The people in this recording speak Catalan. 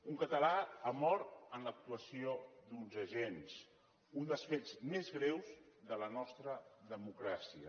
un català ha mort en l’actuació d’uns agents un dels fets més greus de la nostra democràcia